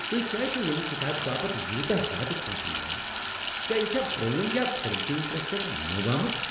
تُہۍ کیٛاز چھو ییمِہ کتابِہ باپتھ یوتاہ زیادٕ پونٛسہٕ منگان؟ کیا یہ چھا پرٲنۍ یا پرٛنٛٹنگ پرٛس پٮ۪ٹھہٕ نوٚو آمٕژ ؟